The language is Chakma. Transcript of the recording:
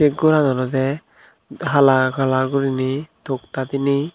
goran olodey hala color guriney tokda diney.